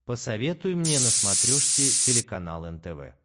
посоветуй мне на смотрешке телеканал нтв